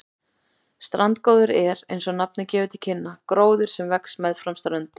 Strandgróður er, eins og nafnið gefur til kynna, gróður sem vex meðfram ströndum.